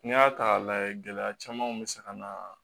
N'i y'a ta k'a lajɛ gɛlɛya camanw bɛ se ka na